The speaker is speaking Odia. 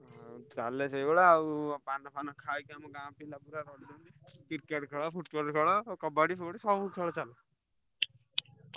ଚାଲେ ସେଇଭଳିଆ ଆଉ ପାନ ଫାନ ଖାଇକି ଗାଁ ପିଲା ଗୁଡା Cricket ଖେଳ Football ଖେଳ କବାଡି ଫବାଡି ସବୁ ଖେଳ ଚାଲେ।